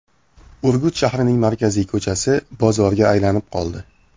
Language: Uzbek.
Urgut shahrining markaziy ko‘chasi bozorga aylanib qoldi.